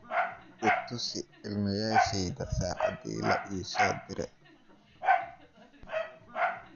itusi iimaylyasheyda sacaadi la iso direy